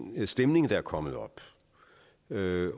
stemning der er kommet ved